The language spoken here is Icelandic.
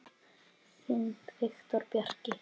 Þinn Viktor Bjarki.